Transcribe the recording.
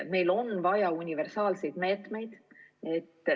Meil on vaja universaalseid meetmeid.